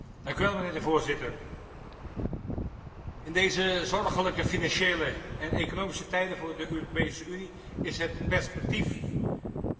In deze zorgelijke financiële en economische tijden voor de Europese Unie is het perspectief van een veelbelovende impuls stellig zeer welkom.